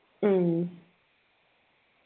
ഉം